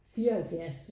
74